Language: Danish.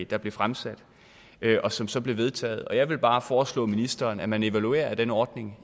der blev fremsat og som så blev vedtaget jeg vil bare foreslå ministeren at man evaluerer den ordning